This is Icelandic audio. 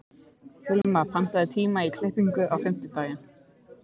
Hilma, pantaðu tíma í klippingu á fimmtudaginn.